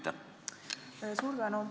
Suur tänu!